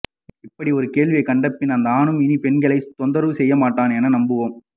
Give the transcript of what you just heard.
இப்படி ஒரு கேள்வியை கண்டபின் எந்த ஆணும் இனி பெண்களை தொந்தரவு செய்ய மாட்டான் என நம்புவோம்